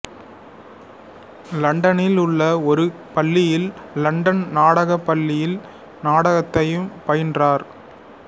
லண்டனில் உள்ள ஒரு பள்ளியில் லண்டன் நாடகப் பள்ளியில் நாடகத்தையும் பயின்றார்